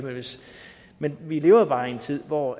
men vi lever bare i en tid hvor